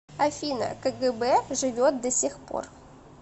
афина кгб живет до сих пор